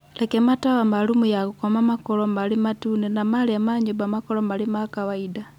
Reke matawa ma rumu ya gũkoma makorũo marĩ matune na marĩa ma nyũmba makorwo mema kawaida.